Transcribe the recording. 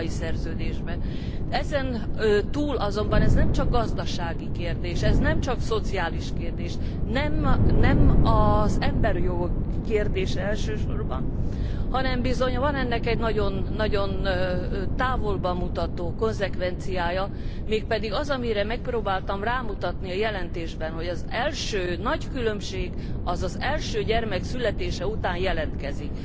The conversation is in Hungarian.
Ezen túl azonban ez nemcsak gazdasági kérdés, ez nemcsak szociális kérdés, nem az emberjogok kérdése elsősorban, hanem bizony van ennek egy nagyon távolba mutató konzekvenciája, mégpedig az, amire megpróbáltam rámutatni a jelentésben, hogy az első nagy különbség az első gyermek születése után jelentkezik.